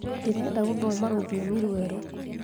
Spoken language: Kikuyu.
ndĩrenda gũthoma rũthiomi rwerũ